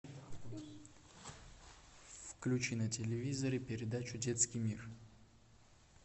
включи на телевизоре передачу детский мир